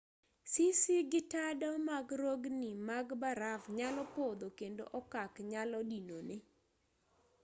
sisi gi tado mag rogni mag baraf nyalo podho kendo okak nyalo dinore